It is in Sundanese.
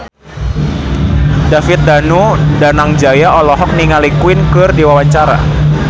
David Danu Danangjaya olohok ningali Queen keur diwawancara